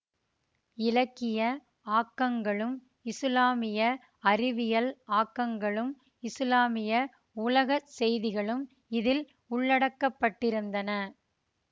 இலக்கிய ஆக்கங்களும் இசுலாமிய அறிவியல் ஆக்கங்களும் இசுலாமிய உலக செய்திகளும் இதில் உள்ளடக்கப்பட்டிருந்தன